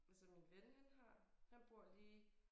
Altså min ven han har han bor lige